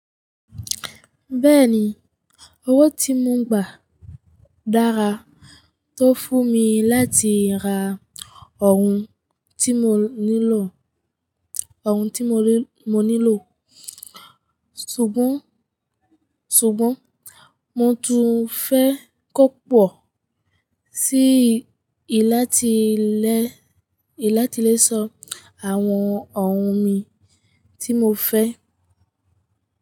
Bẹ́ẹ̀ni, owó tí mo gbà dára tó fún mi láti ra ohun tí mo nílò, ohun tí mo nílò. Ṣùgbọ́n, ṣùgbọ́n mo tún fẹ́ kó pọ̀ sí i láti lè, láti lè sọ àwọn ohun mi tí mo fẹ́.